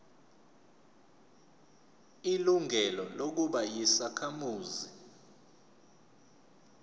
ilungelo lokuba yisakhamuzi